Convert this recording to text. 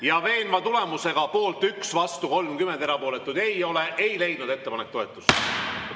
Ja veenva tulemusega poolt 1, vastuolijaid on 30 ja erapooletuid ei ole, ei leidnud ettepanek toetust.